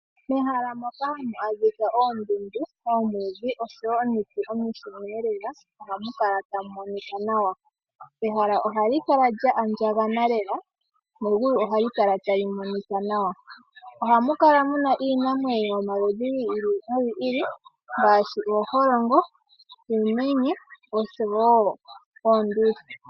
Mehala moka hamu adhika oondundu. Omwiidhi osho woo omiti omishona lela. Oha mu kala tamu monika nawa. Ehala ohali kala lya andjakana Lela. Na ohali kala tali monika nawa. Ohamukala muna iinamwenyo yomaludhi gi ili no gi ili . Ngaashi ooholongo, uumenye noonduli.